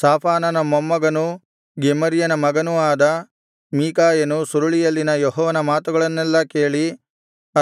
ಶಾಫಾನನ ಮೊಮ್ಮಗನೂ ಗೆಮರ್ಯನ ಮಗನೂ ಆದ ಮೀಕಾಯನು ಸುರುಳಿಯಲ್ಲಿನ ಯೆಹೋವನ ಮಾತುಗಳನ್ನೆಲ್ಲಾ ಕೇಳಿ